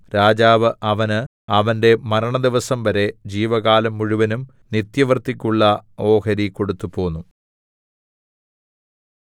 രാജാവ് അവന് അവന്റെ മരണദിവസം വരെ ജീവകാലം മുഴുവൻ നിത്യവൃത്തിക്കുള്ള ഓഹരി കൊടുത്തുപോന്നു